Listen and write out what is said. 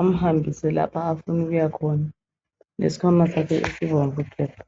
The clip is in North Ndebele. amhambise lapho afuna ukuya khona, lesikhwama sakhe esibomvu gebhu.